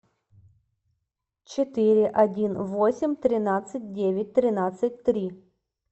четыре один восемь тринадцать девять тринадцать три